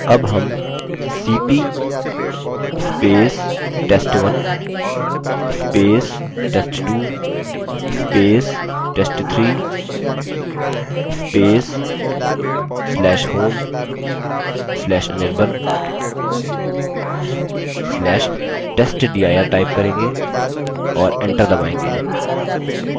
अब हम $cp test1 test2 test3/home/anirban/testdir type करेंगे और enter दबायेंगे